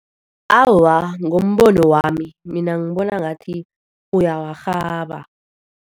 Awa, ngombono wami, mina ngibona ngathi uyawarhaba.